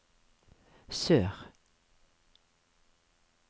sør